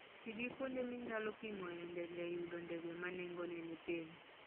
Ti gi kuonde minyalo pimoe ndege e yudo ndege ma nengogi ni piny.